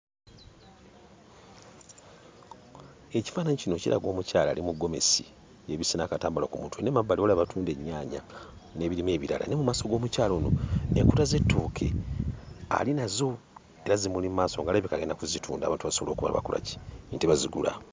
Ekifaananyi kino kiraga omukyala ali mu gomesi yeebisse n'akatambaala ku mutwe, naye mu mabbali waliwo abatunda ennyaanya n'ebirime ebirala. Naye mu maaso g'omukyala ono n'enkota z'ettooke ali nazo era zimuli mu maaso, ng'alabika agenda kuzitunda abantu basobole okuba nga bakola ki? Nti bazigula.